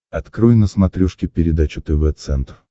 открой на смотрешке передачу тв центр